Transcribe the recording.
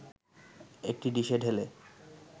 একটি ডিশে ঢেলে